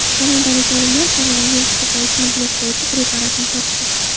Kanadalik olimlar koronavirus ko‘payishini bloklovchi preparatni topdi .